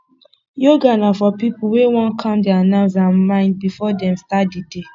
yoga na for pipo wey won calm their nerves and mind before dem start di day